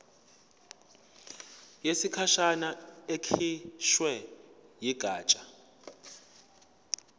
yesikhashana ekhishwe yigatsha